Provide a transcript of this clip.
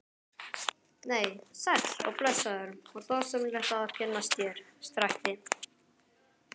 Nei, sæll og blessaður og dásamlegt að kynnast þér, skrækti